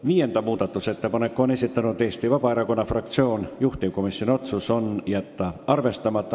Neljanda muudatusettepanku on esitanud Eesti Vabaerakonna fraktsioon, juhtivkomisjoni otsus on jätta arvestamata.